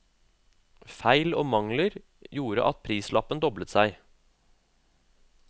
Feil og mangler gjorde at prislappen doblet seg.